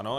Ano.